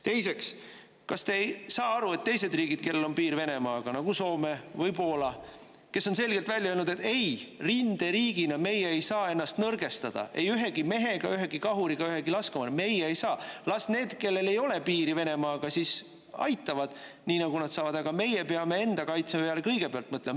Teiseks, kas te ei saa aru, et teised riigid, kellel on piir Venemaaga, nagu Soome või Poola, kes on selgelt välja öelnud, et ei, rinderiigina meie ei saa ennast nõrgestada ei ühegi mehega, ühegi kahuriga, ühegi laskemoonaga, meie ei saa, las need, kellel ei ole piiri Venemaaga, siis aitavad, nii nagu nad saavad, aga meie peame enda kaitse peale kõigepealt mõtlema.